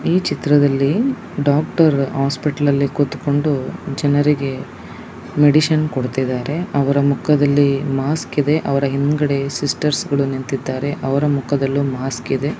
ಈ ಚಿತ್ರದಲ್ಲಿ ಡಾಕ್ಟರ್ ಆಸ್ಪತ್ಲೆಲಿ ಕುಳಿತುಕೊಂಡು-- ಜನರಿಗೆ ಮೆಡಿಸಿನ್ ಕೊಡ್ತಾ ಇದಾರೆ ಅವ್ರ ಮಕ್ಕದಲ್ಲಿ ಮಾಸ್ಕ ಇದೆ ಅವ್ರ ಸಿಸ್ಟರ್ಸ್ಗಳು ನಿಂತಿದ್ದಾರೆ ಅವ್ರ ಮುಖದಲ್ಲಿ ಮಾಸ್ಕ ಇದೆ.